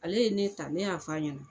Ale ye ne ta, ne y'a f'a ɲɛna